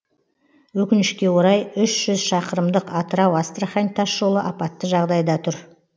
өкінішке орай үш жүз шақырымдық атырау астрахань тасжолы апатты жағдайда тұр